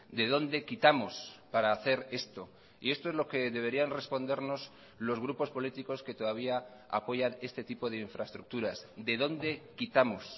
de dónde quitamos para hacer esto y esto es lo que deberían respondernos los grupos políticos que todavía apoyan este tipo de infraestructuras de dónde quitamos